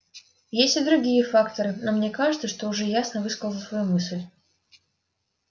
есть и другие факторы но мне кажется что уже ясно высказал свою мысль